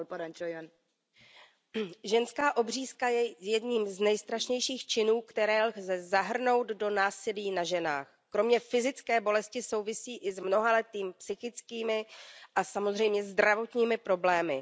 Paní předsedající, ženská obřízka je jedním z nejstrašnějších činů, které lze zahrnout do násilí na ženách. Kromě fyzické bolesti souvisí i s mnohaletými psychickými a samozřejmě zdravotními problémy.